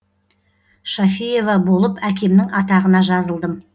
шафиева болып әкемнің атағына жазылдым